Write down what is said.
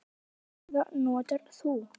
Hvaða farða notar þú?